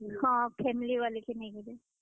ହଁ, family ବାଲେ କେ ନେଇ କରି।